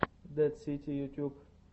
дэд сити ютьюб